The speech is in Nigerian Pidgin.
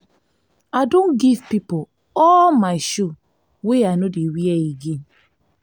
i don give pipo all my shoe wey i no dey wear again. wear again.